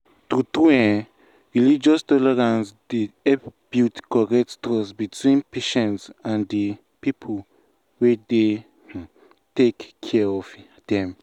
true um true religious tolerance dey help build correct trust between patients and the um people wey dey um take care of them.